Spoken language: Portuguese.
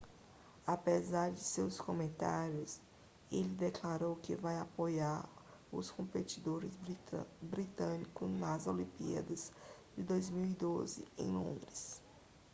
apesar de seus comentários ele declarou que vai apoiar os competidores britânicos nas olimpíadas de 2012 em londres